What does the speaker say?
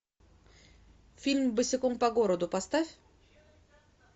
фильм босиком по городу поставь